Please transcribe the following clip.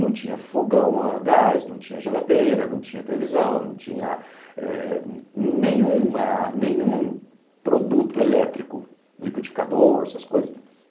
Não tinha fogão a gás, não tinha geladeira, não tinha televisão, não tinha eh nenhuma nenhum produto elétrico, liquidificador, essas coisas.